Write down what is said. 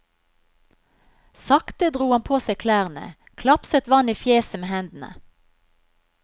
Sakte dro han på seg klærne, klapset vann i fjeset med hendene.